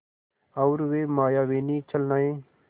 और वे मायाविनी छलनाएँ